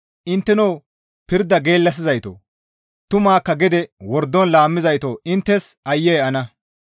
Intteno pirda geellasizaytoo! Tumakka gede wordon laammizayto inttes aayye ana!